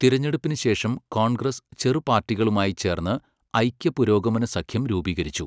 തിരഞ്ഞെടുപ്പിന് ശേഷം കോൺഗ്രസ് ചെറുപാർട്ടികളുമായി ചേർന്ന് ഐക്യ പുരോഗമന സഖ്യം രൂപീകരിച്ചു.